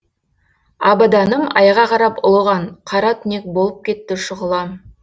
абаданым айға қарап ұлыған қара түнек болып кетті шұғылам